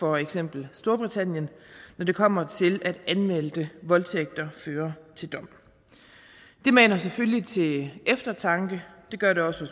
for eksempel storbritannien når det kommer til at anmeldte voldtægter fører til dom det maner selvfølgelig til eftertanke det gør det også